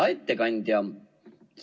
Hea ettekandja!